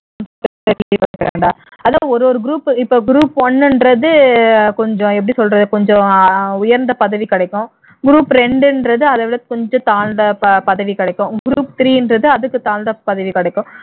அதான் ஒரு ஒரு group இப்போ group one ன்றது கொஞ்சம் எப்படி சொல்றது கொஞ்சம் உயர்ந்த பதவி கிடைக்கும் group இரண்டுன்றது அதை விட கொஞ்சம் தாழ்ந்த ப பதவி கிடைக்கும் group three அதுக்கு தாழ்ந்த பதவி கிடைக்கும்